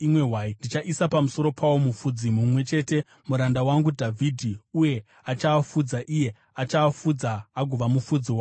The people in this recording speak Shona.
Ndichaisa pamusoro pawo mufudzi mumwe chete, muranda wangu Dhavhidhi uye achaafudza; iye achaafudza agova mufudzi wawo.